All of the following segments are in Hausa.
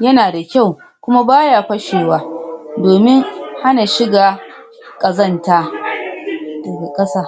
yana da kyau, kuma baya fashewa domin hana shiga ƙazanta daga ƙasa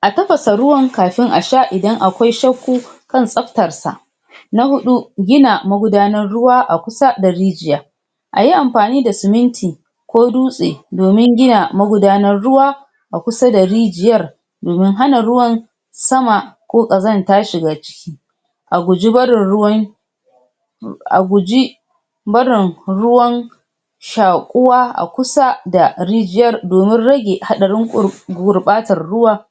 a tafasa ruwan kafin a sha idan akwai shakku kan tsaftarsa. Na huɗu gina magudanar ruwa a kusa da rijiya ayi amfani da siminti ko dutse domin gina magudanar ruwa a kusa da rijiyar domin hana ruwan sama ko ƙazanta shiga ciki, a guji barin ruwan a guji barin ruwan shaƙuwa a kusa da rijiyar domin rage haɗarin gur gurɓatar ruwa.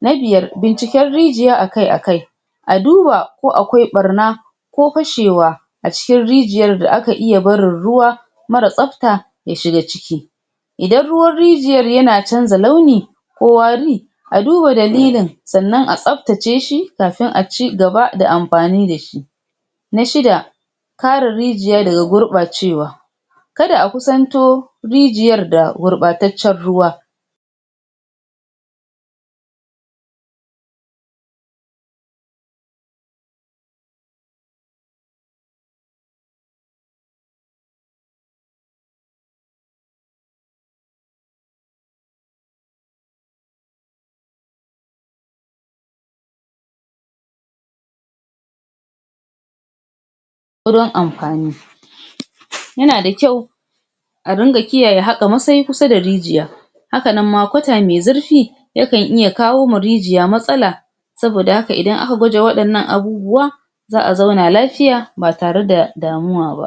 Na biyar binciken rijiya akai akai a duba ko akwai ɓarna ko fashewa a cikin rijiyar da aka iya barin ruwa mara tsafta ya shiga ciki, idan ruwan rijiyar yana canza launi ko wari a duba dalilin sannan a tsafaceshi kafin a cigaba da amfani da shi. Na shida: Kare rijiya daga gurɓacewa kada a kusanto rijiyar da gurɓataccen ruwa wurin amfani, yana da kyau a rinƙa kiyaye haƙa masai kusa da rijiya, haka nan ma kwata me zurfi yakan iya kawoma rijiya matsala, saboda haka idan aka guje waɗannan abubuwa za'a zauna lafiya ba tare da damuwa ba.